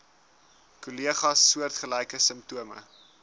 kollegas soortgelyke simptome